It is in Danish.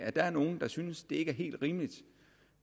der synes at ikke er helt rimeligt